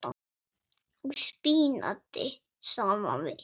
og spínati saman við.